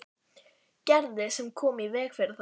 Gerði sem kom í veg fyrir það.